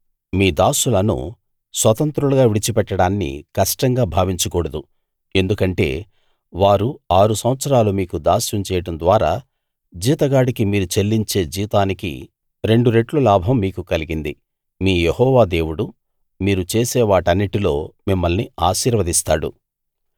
మీ దాసులను స్వతంత్రులుగా విడిచిపెట్టడాన్ని కష్టంగా భావించకూడదు ఎందుకంటే వారు ఆరు సంవత్సరాలు మీకు దాస్యం చేయడం ద్వారా జీతగాడికి మీరు చెల్లించే జీతానికి రెండు రెట్లు లాభం మీకు కలిగింది మీ యెహోవా దేవుడు మీరు చేసే వాటన్నిటిలో మిమ్మల్ని ఆశీర్వదిస్తాడు